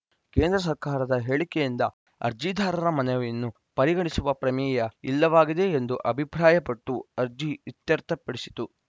ಕೇಂದ್ರ ಸರ್ಕಾರದ ಹೇಳಿಕೆಯಿಂದ ಅರ್ಜಿದಾರರ ಮನವಿಯನ್ನು ಪರಿಗಣಿಸುವ ಪ್ರಮೇಯ ಇಲ್ಲವಾಗಿದೆ ಎಂದು ಅಭಿಪ್ರಾಯಪಟ್ಟು ಅರ್ಜಿ ಇತ್ಯರ್ಥಪಡಿಸಿತು